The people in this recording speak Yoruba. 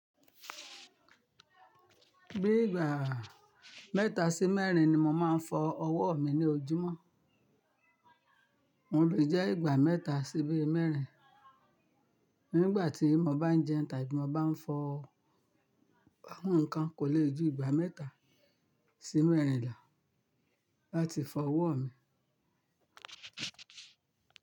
Bí ìgbà mẹ́ta sí mẹ́rin ni mo máa ń fọ ọwọ́ mi ní ojúmọ́. Wọ́n lè jẹ́ ìgbà mẹ́ta sí bí mẹ́rin. Nígbà tí mo bá ń jẹun tàbí mo bá ń fọ àwọn nǹkan kò lè ju ìgbà mẹ́ta sí mẹ́rin lọ láti fọ ọwọ́ mi.